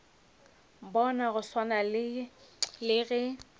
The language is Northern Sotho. bona go swana le ge